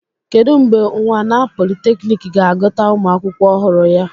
Kedu mgbe unwana polytechnic ga-agụta ụmụ akwụkwọ ọhụrụ ya?